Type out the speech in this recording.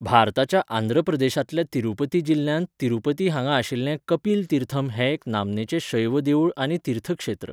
भारताच्या आंध्र प्रदेशांतल्या तिरुपती जिल्ल्यांत तिरुपती हांगा आशिल्लें कपिल तीर्थम हें एक नामनेचें शैव देवूळ आनी तीर्थक्षेत्र.